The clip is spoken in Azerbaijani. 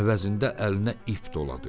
Əvəzində əlinə ip doladı.